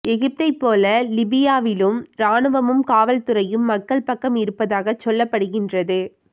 எகிப்தைபோல லிபியாவிலும் இராணுவமும் காவல்துறையும் மக்கள் பக்கம் இருப்பதாக சொல்லப்படுகின்றது